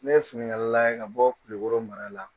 Ne ye finikalala ye ka bɔ kulukɔrɔ mara la